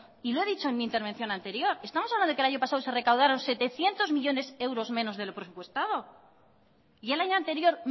y lo he dicho en mi intervención anterior estamos hablando de que el año pasado se recaudaron setecientos millónes de euros menos de lo presupuestado y el año anterior